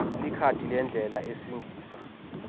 likhadi lendlela esingisa